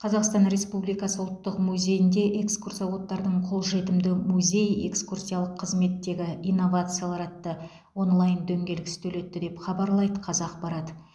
қазақстан республикасы ұлттық музейінде экскурсоводтардың қолжетімді музей экскурсиялық қызметтегі инновациялар атты онлайн дөңгелек үстелі өтті деп хабарлайды қазақпарат